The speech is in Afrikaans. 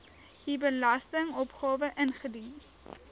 u belastingopgawe ingedien